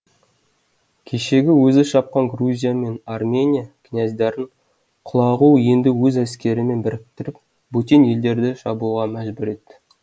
кешегі өзі шапқан грузия мен армения князьдарын құлағу енді өз әскерімен біріктіріп бөтен елдерді шабуға мәжбүр ет